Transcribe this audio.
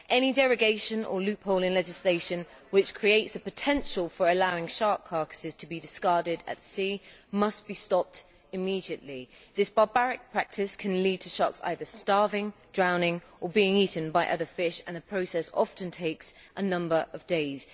Any derogation or loophole in legislation which creates a potential for allowing shark carcasses to be discarded at sea must be stopped immediately. This barbaric practice can lead to sharks either starving, drowning or being eaten by other fish and the process often takes a number of days.